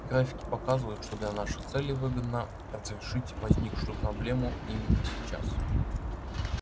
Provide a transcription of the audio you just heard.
графики показывают что для наших целей выгодно разрешить возникшую проблему именно сейчас